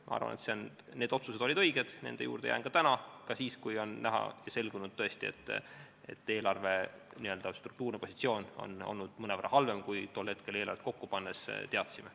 Ma arvan, et need otsused olid õiged, selle juurde jään ka täna, ka siis, kui on selgunud, et eelarve struktuurne positsioon on olnud mõnevõrra halvem, kui me eelarvet kokku pannes teadsime.